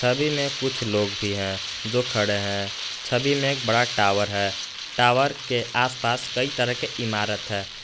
छवि में कुछ लोग भी हैं जो खड़े हैं छवि में एक बड़ा टावर है टावर के आसपास कई तरह की इमारत है।